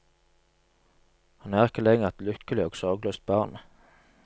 Han er ikke lenger et lykkelig og sorgløst barn.